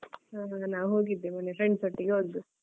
ಹ ಹ ಹ ನಾ ಹೋಗಿದ್ದೆ ಮೊನ್ನೆ friends ಒಟ್ಟಿಗೆ ಹೊದ್ದು.